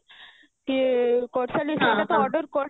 କି order କରିଛି